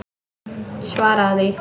Svaraðu því!